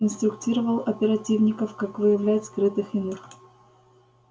инструктировал оперативников как выявлять скрытых иных